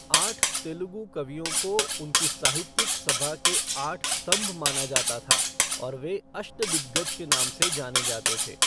आठ तेलुगु कवियों को उनकी साहित्यिक सभा के आठ स्तंभ माना जाता था और वे अष्टदिग्गज के नाम से जाने जाते थे।